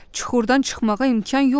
Çuxurdan çıxmağa imkan yoxdur.